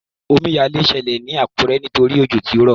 Omíyalé ṣẹlẹ̀ ní Àkúrẹ́ nítorí òjò tí ó rọ̀.